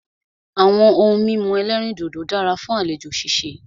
Àwọn ohun mímu ẹ̀lẹ́rìndodò dára fún àlejò ṣíṣe.